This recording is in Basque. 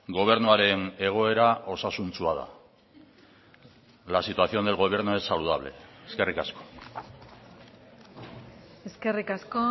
erantzuteko